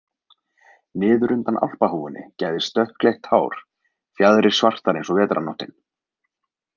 Niður undan alpahúfunni gægðist dökkleitt hár, fjaðrir svartar eins og vetrarnóttin.